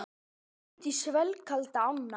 Lagði út í svellkalda ána